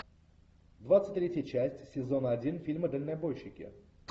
двадцать третья часть сезона один фильма дальнобойщики